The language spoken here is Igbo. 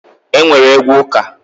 E nwere egwu ụka